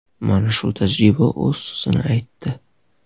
Mana shu tajriba o‘z so‘zini aytdi.